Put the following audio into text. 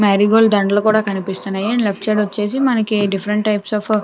Marigold దండాలు కూడా కనిపిస్తున్నాయి. అండ్ లెఫ్ట్ సైడ్ వచ్చేసి మనకి డిఫరెంట్ టైప్స్ అఫ్ --